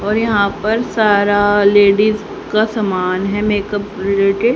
और यहां पर सारा लेडीज का समान है मेकअप रिलेटेड --